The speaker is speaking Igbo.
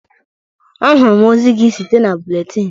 Ahụrụm ozi gị site na buletin.